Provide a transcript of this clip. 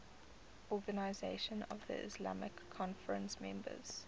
organisation of the islamic conference members